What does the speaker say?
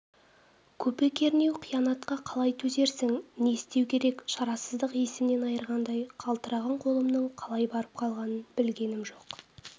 көпе-көрнеу қиянатқа қалай төзерсің не істеу керек шарасыздық есімнен айырғандай қалтыраған қолымның қалай барып қалғанын білгенім жоқ